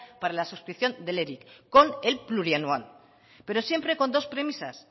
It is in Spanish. para la suscripción del eric con el plurianual pero siempre con dos premisas